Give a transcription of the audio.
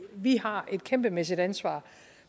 vi har et kæmpemæssigt ansvar